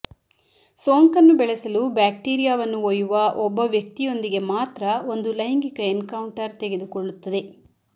ಸೋಂಕನ್ನು ಬೆಳೆಸಲು ಬ್ಯಾಕ್ಟೀರಿಯಾವನ್ನು ಒಯ್ಯುವ ಒಬ್ಬ ವ್ಯಕ್ತಿಯೊಂದಿಗೆ ಮಾತ್ರ ಒಂದು ಲೈಂಗಿಕ ಎನ್ಕೌಂಟರ್ ತೆಗೆದುಕೊಳ್ಳುತ್ತದೆ